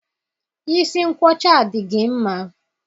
Isi nkwọcha dị gị mma.